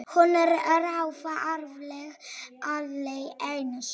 Hún ráfaði áfram lengi dags.